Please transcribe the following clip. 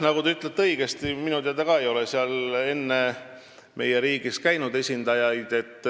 Nagu te õigesti ütlesite, minu teada ka ei ole meie riigi esindajaid seal enne käinud.